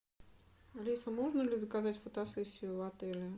алиса можно ли заказать фотосессию в отеле